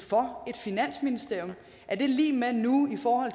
for et finansministerium er det lig med nu i forhold